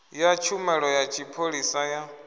ya tshumelo ya tshipholisa ya